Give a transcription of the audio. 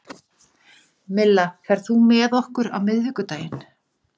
Milla, ferð þú með okkur á miðvikudaginn?